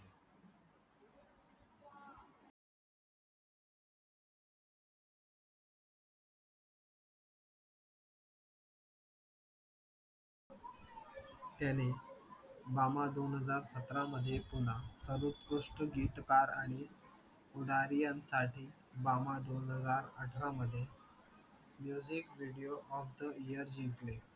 त्याने मामा दोन हजार सतरा मध्ये पुन्हा सर्वोत्कृष्ट गीतकार आणि पुढारी यांसाठी बाबा दोन हजार अठरा मध्ये music of the year जिंकले